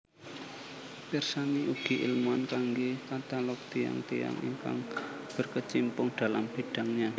Pirsani ugi ilmuwan kanggé katalog tiyang tiyang ingkang berkecimpung dalam bidangnya